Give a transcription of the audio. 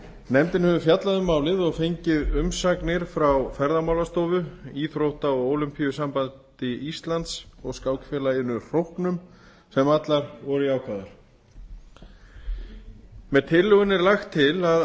nefndin hefur fjallað um málið og fengið umsagnir frá ferðamálastofu íþrótta og ólympíusambandi íslands og skákfélaginu hróknum sem allar voru jákvæðar með tillögunni er lagt til að